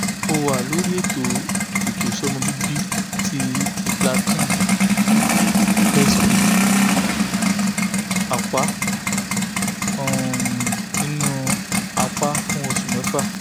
mo wa lori eto ifetosọmọ bibi ti implanton (sp) ọpá um ninu apa fun osu mefa